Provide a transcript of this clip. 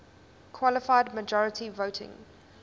qualified majority voting